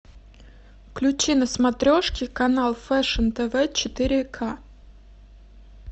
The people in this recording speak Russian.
включи на смотрешке канал фэшн тв четыре ка